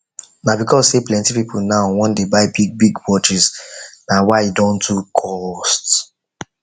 na because say plenty people now wan dey buy big big watches na why e don too cost